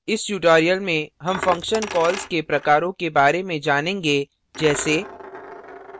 इस tutorial में हम function calls के प्रकारों के बारे में जानेंगे जैसे